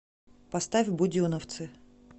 поставь буденовцы